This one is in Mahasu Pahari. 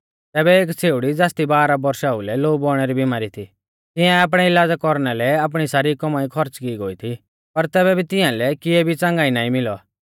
तैबै एक छ़ेउड़ी ज़ासदी बारह बौरशा ओउलै लोऊ बौइणै री बिमारी थी तिआऐं आपणै इलाज़ा कौरना लै आपणी सारी कौमाई खौर्च़ की गोई थी पर तैबै भी तिंआलै किऐ भी च़ंगाई नाईं मिलौ